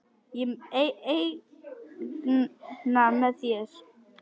Ég eigna mér þig.